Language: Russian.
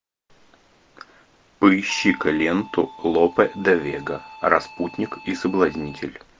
поищи ка ленту лопе де вега распутник и соблазнитель